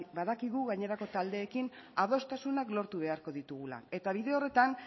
badakigu gainerako taldeekin adostasunak lortu beharko ditugula eta bide horretan